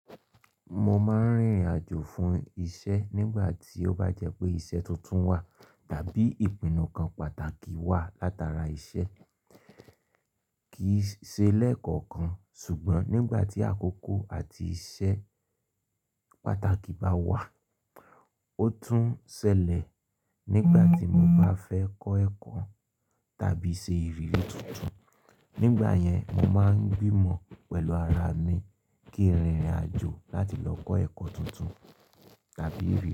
Mo máa ń rìnrìn àjò fún iṣẹ́ nígbà tí ó bá jẹ́ pé iṣẹ́ tuntun wà àbí ìpinnu kan pàtàkì wà látara iṣẹ́. Kìí ṣe lẹ́ẹ̀kọ̀kan ṣùgbọ́n nígbà tí àkókò àti iṣẹ́ pàtàkì bá wà, ó tún ṣẹlẹ̀ nígbà tí mo bá fẹ́ kọ́ ẹ̀kọ́ tàbí ṣe ìrírí tuntun. Nígbà yẹn mo má ń gbìnmọ̀ pẹ̀lú ara mi, kí n rinrin àjò láti lọ kọ́ ẹ̀kọ́ tuntun.